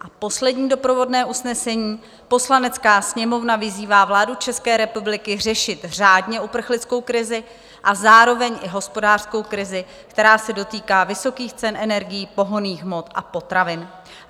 A poslední doprovodné usnesení: Poslanecká sněmovna vyzývá vládu České republiky řešit řádně uprchlickou krizi a zároveň i hospodářskou krizi, která se dotýká vysokých cen energií, pohonných hmot a potravin.